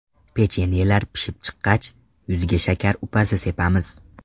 Pechenyelar pishib chiqqach, yuziga shakar upasi sepamiz.